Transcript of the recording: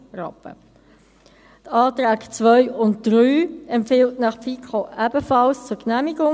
Die Anträge 2 und 3 empfiehlt Ihnen die FiKo ebenfalls zur Genehmigung.